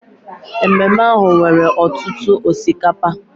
Ememe ahụ nwere ọtụtụ osikapa